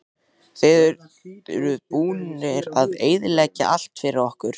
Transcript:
Þið eruð búnar að eyðileggja allt fyrir okkur